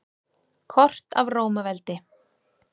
Kort af Rómaveldi.